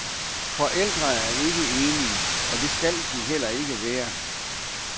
Forældre er ikke enige, og skal heller ikke være det.